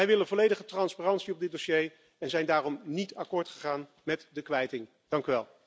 Wij willen volledige transparantie in dit dossier en zijn daarom niet akkoord gegaan met de kwijting. Dank u wel.